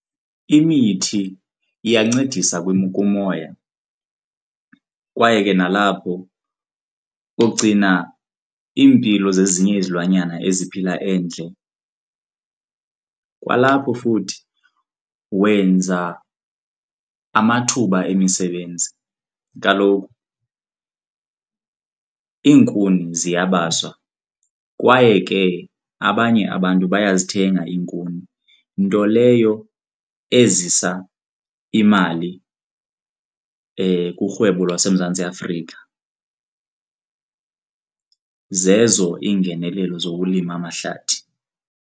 Imithi iyancedisa kumoya kwaye ke nalapho ugcina iimpilo zezinye izilwanyana eziphila endle, kwalapho futhi wenza amathuba emisebenzi. Kaloku iinkuni ziyabaliswa kwaye ke abanye abantu bayazithenga iinkuni, nto leyo ezisa imali kurhwebo lwaseMzantsi Afrika. Zezo iingenelelo zokulima amahlathi.